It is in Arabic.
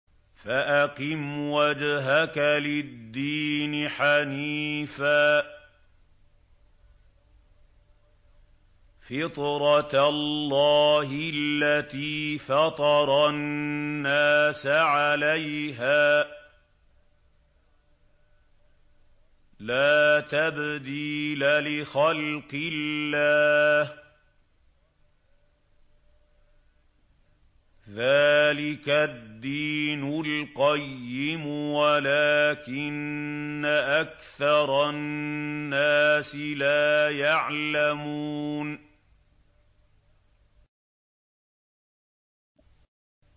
فَأَقِمْ وَجْهَكَ لِلدِّينِ حَنِيفًا ۚ فِطْرَتَ اللَّهِ الَّتِي فَطَرَ النَّاسَ عَلَيْهَا ۚ لَا تَبْدِيلَ لِخَلْقِ اللَّهِ ۚ ذَٰلِكَ الدِّينُ الْقَيِّمُ وَلَٰكِنَّ أَكْثَرَ النَّاسِ لَا يَعْلَمُونَ